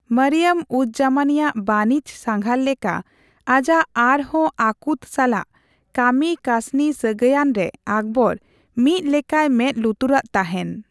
ᱢᱚᱨᱤᱭᱟᱢᱼᱩᱡᱽᱼᱡᱟᱢᱟᱱᱤ ᱟᱜ ᱵᱟᱹᱱᱤᱡᱽ ᱥᱟᱸᱜᱷᱟᱨ ᱞᱮᱠᱟ ᱟᱡᱟᱜ ᱟᱨᱦᱚᱸ ᱟᱹᱠᱩᱛ ᱥᱟᱞᱟᱜ ᱠᱟᱹᱢᱤ ᱠᱟᱹᱥᱱᱤ ᱥᱟᱹᱜᱟᱭᱟᱱᱨᱮ ᱟᱠᱵᱚᱨ ᱢᱤᱫ ᱞᱮᱠᱟᱭ ᱢᱮᱫ ᱞᱩᱛᱩᱨᱟᱜ ᱛᱟᱦᱮᱸᱱ ᱾